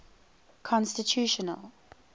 constitutional